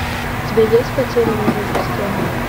у тебя есть потерянное рождество